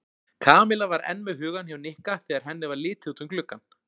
Kamilla var enn með hugann hjá Nikka þegar henni var litið út um gluggann.